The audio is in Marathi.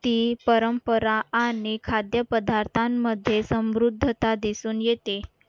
ती परंपरा आणि खाद्यपदार्थांमध्ये समृद्धता दिसून येते